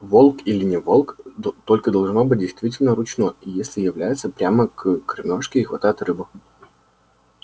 волк или не волк только должно быть действительно ручной если является прямо к кормёжке и хватает рыбу